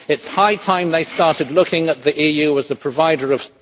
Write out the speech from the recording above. It is high time they started looking at the EU as a provider of....